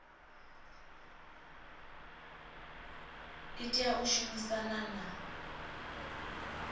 i tea u shumisana na